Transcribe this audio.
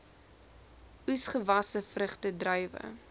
oesgewasse vrugte druiwe